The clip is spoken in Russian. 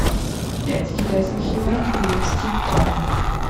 пять китайских юаней перевести в баты